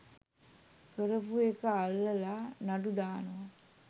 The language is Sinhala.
කරපු එකා අල්ලලා නඩුදානවා